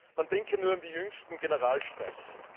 Man denke nur an die jüngsten Generalstreiks.